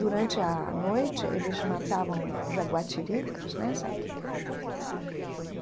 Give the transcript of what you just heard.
Durante a noite, eles matavam jaguatiricas né, sabe o que que é?